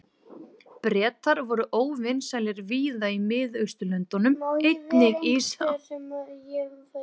Bretar voru óvinsælir víða í Mið-Austurlöndum, einnig í Sádi-Arabíu.